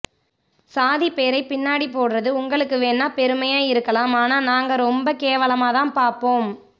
சாதிப் பேரை பின்னாடி போடுறது உங்களுக்கு வேணா பெருமையா இருக்கலாம் ஆனா நாங்க ரொம்பக் கேவலமா தான் பார்ப்போம்